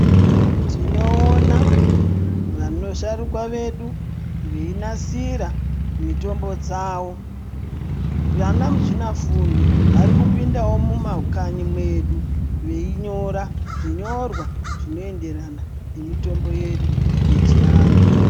Tinoona vasharukwa vedu veinasira mitombo dzavo vana muzvina fundo vari kupindao mumakanyi mwedu veinyora zvinyorwa zvinoenderana nemitombo yedu yechianthu.